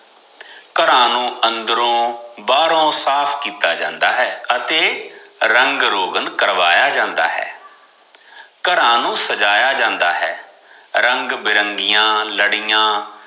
ਘਰਾਂ ਨੂੰ ਅੰਦਰੋ ਬਾਹਰੋ ਸਾਫ ਕਿੱਤਾ ਜਾਂਦਾ ਹੈ ਅਤੇ ਰੰਗ ਰੋਗਨ ਕਰਾਇਆ ਜਾਂਦਾ ਹੈ ਘਰਾਂ ਨੂ ਸਜਾਇਆ ਜਾਂਦਾ ਹੈ, ਰੰਗ ਬਿਰੰਗੀਆ ਲੜਿਆ